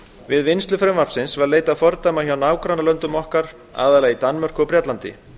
við vinnslu frumvarpsins var leitað fordæma hjá nágrannalöndum okkar aðallega í danmörku og bretlandi